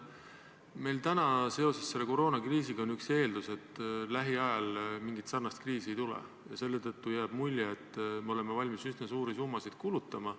Meil täna seoses koroonakriisiga on üks eeldusi, et lähiajal mingit sarnast kriisi ei tule, ja selle tõttu jääb mulje, et oleme valmis üsna suuri summasid kulutama.